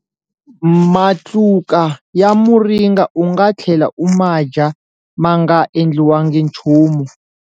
Matluka ya muringa u nga tlhela u ma dya ma nga endliwangi nchumu.